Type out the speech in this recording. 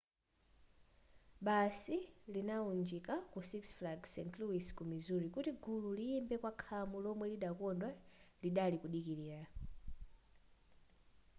basi idalunjika ku six flags st louis ku missouri kuti gulu liyimbe kwa khamu lomwe llokondwa lidali kudikilira